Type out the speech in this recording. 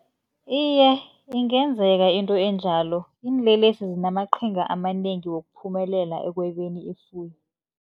Iye, ingenzeka into enjalo. Iinlelesi zinamaqhinga amanengi wokuphumelela ekwebeni ifuyo.